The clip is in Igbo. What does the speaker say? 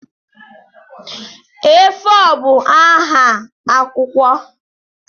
A4 bụ nha akwụkwọ.